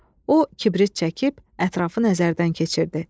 O, kibrit çəkib ətrafı nəzərdən keçirdi.